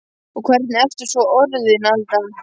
Og hvernig ertu svo orðin Alda.